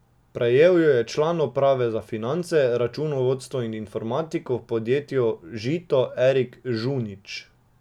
Prejel jo je član uprave za finance, računovodstvo in informatiko v podjetju Žito Erik Žunič.